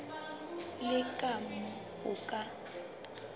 le ka moo o ka